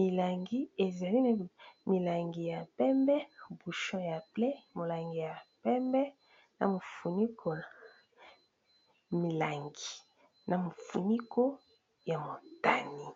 milangi. milangi ya pembe buchon ya bleue , molangi ya pembe milangi na mofuniko ya morgane.